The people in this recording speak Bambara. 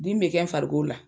Dimi be kɛ n farikolo la.